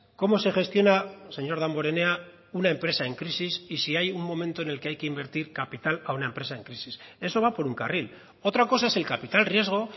cómo se gestiona señor damborenea una empresa en crisis y si hay un momento en el que hay que invertir capital a una empresa en crisis eso va por un carril otra cosa es el capital riesgo